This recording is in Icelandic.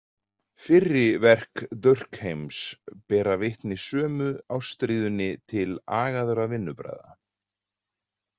Fyrri verk Durkheims bera vitni sömu ástríðunni til agaðra vinnubragða.